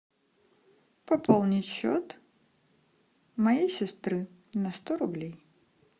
пополнить счет моей сестры на сто рублей